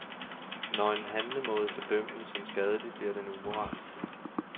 Når en handlemåde fordømmes som skadelig, bliver den umoralsk.